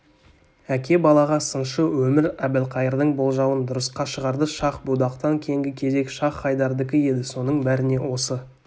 әке балаға сыншы өмір әбілқайырдың болжауын дұрысқа шығарды шах-будақтан кейінгі кезек шайх-хайдардікі еді соның бәріне осы